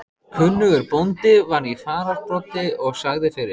Kunnugur bóndi var í fararbroddi og sagði fyrir.